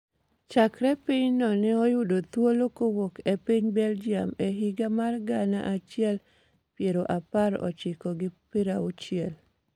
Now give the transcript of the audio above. chakre pinyno ne oyudo thuolo kowuok e piny Belgium e higa mar gana achiel pra par ochiko gi prauchiel.